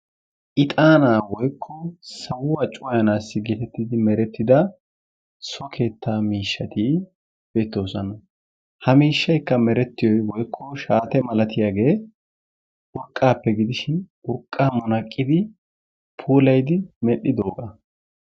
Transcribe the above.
Ixxaana woykko sawaa cuwayanaassi gididi merettida so keettaa miishshati beettoosona. Hi miishshaykka meretiyoy woykko shaatte malatiyagee urqqaappe gidishin urqqaa munaqidi puulayidi medhdhidooga.